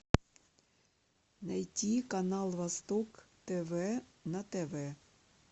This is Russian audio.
найти канал восток тв на тв